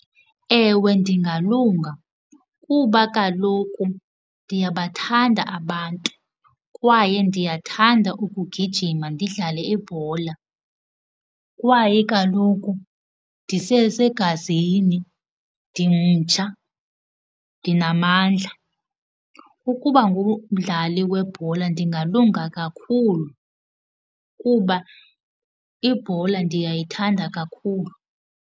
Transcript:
Ewe, ndingalunga kuba kaloku ndiyabathanda abantu kwaye ndiyathanda ukugijima ndidlale ibhola. Kwaye kaloku ndisesegazini ndimtsha, ndinamandla. Ukuba ngumdlali webhola ndingalunga kakhulu kuba ibhola ndiyayithanda kakhulu.